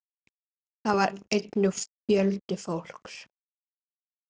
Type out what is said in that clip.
Þar var einnig fjöldi fólks.